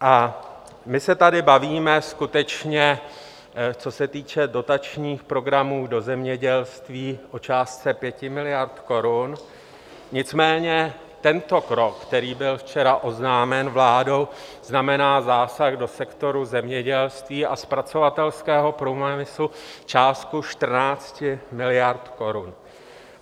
A my se tady bavíme skutečně, co se týče dotačních programů do zemědělství, o částce 5 miliard korun, nicméně tento krok, který byl včera oznámen vládou, znamená zásah do sektoru zemědělství a zpracovatelského průmyslu částkou 14 miliard korun.